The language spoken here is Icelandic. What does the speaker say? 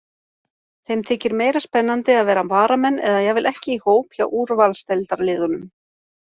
Þeim þykir meira spennandi að vera varamenn eða jafnvel ekki í hóp hjá úrvalsdeildarliðunum.